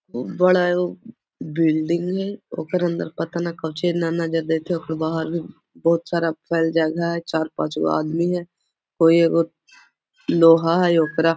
उव बड़ा हो उब्ब बिल्डिंग हय ओकर अंदर पता नहीं कोची है न न जो देखे ओकर बाहर में बहुत सारा फ़ैल जगह है चार-पाँच गो आदमी है कोई एगो लोहा है ओकरा --